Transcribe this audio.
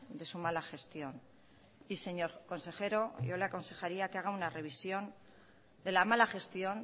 de su mala gestión y señor consejero yo le aconsejaría que haga una revisión de la mala gestión